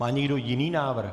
Má někdo jiný návrh?